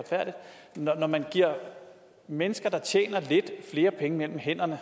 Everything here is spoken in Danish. giver mennesker der tjener lidt flere penge mellem hænderne